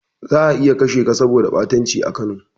Za'a iya kashe ka saboda ɓatanci a Kano.